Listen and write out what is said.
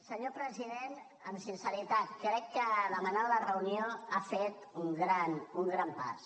senyor president amb sinceritat crec que demanant la reunió ha fet un gran pas